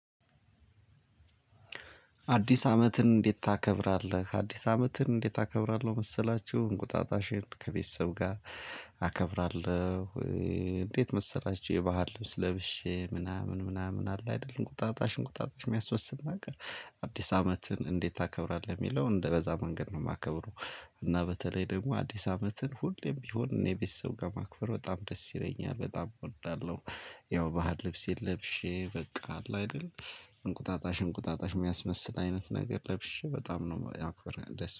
አዲስ አመትን እንዴት ታከብራለህ? አዲስ አመትን እንዴት አከብራለው መሰላችሁ እንቁጣጣሽን ከቤተሰብ ጋር አከብራለሁ እንዴት መሰላችሁ የባህል ልብስ ለብሼ ምናምን ምናምን አለ አይደለ እንቁጣጣሽን እንቁጣጣሽ የሚያስመስል ነገር አዲስ አመትን እንዴት ታከብራለህ የሚለውን በዛ መንገድ ነው የማከብረው እና በተለይ ደግሞ አዲስ አመትን ሁሌም ቢሆን እኔ ከቤተሰብ ጋር ማክበር በጣም ደስ ይለኛል። በጣም እወዳለሁ። ያው ባህል ልብስ ለብሼ በቃ አለ አይደል እንቁጣጣሽ እንቁጣጣሽ የሚያስመስል አይነት ነገር ለብሼ በጣም ነው ማክበር ደስ